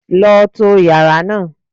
Lọ to yàrá náà.